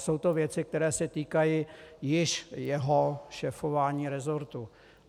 Jsou to věci, které se týkají již jeho šéfování resortu.